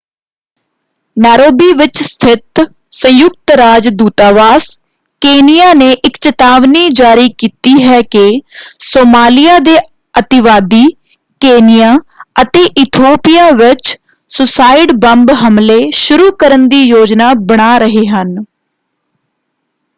Nairobi ਵਿੱਚ ਸਥਿਤ ਸੰਯੁਕਤ ਰਾਜ ਦੂਤਾਵਾਸ ਕੇਨੀਆ ਨੇ ਇੱਕ ਚਿਤਾਵਨੀ ਜਾਰੀ ਕੀਤੀ ਹੈ ਕਿ ਸੋਮਾਲਿਆ ਦੇ ਅਤਿਵਾਦੀ ਕੇਨੀਆ ਅਤੇ ਇਥੋਪੀਆ ਵਿੱਚ ਸੂਸਾਈਡ ਬੰਬ ਹਮਲੇ ਸ਼ੁਰੂ ਕਰਨ ਦੀ ਯੋਜਨਾ ਬਣਾ ਰਹੇ ਹਨ।